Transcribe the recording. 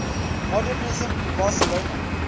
modernisme in barcelona